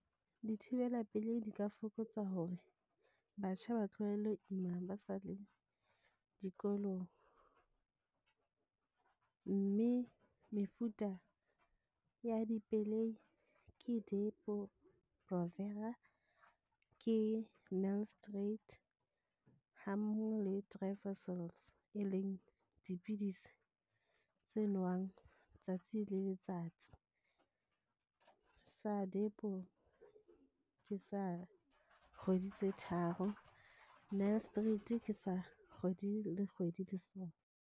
Dithibela pelei di ka fokotsa hore batjha ba tlohelle ho ima, ba sa le dikolong. Mme mefuta ya dipelei ke Depo-Provera ke nuristerate ha mmoho le e leng dipidisi tse nowang letsatsi le letsatsi. Sa depo ke sa kgwedi tse tharo, nuristerate ke sa kgwedi le kgwedi le sona.